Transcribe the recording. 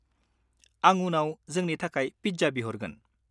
-आं उनाव जोंनि थाखाय पिज्जा बिहरगोन।